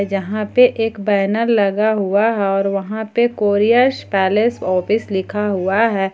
जहां पर एक बैनर लगा हुआ है और वहां पर कोरियर पैलेस ऑफिस लिखा हुआ है।